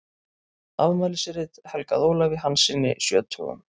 Afmælisrit helgað Ólafi Hanssyni sjötugum.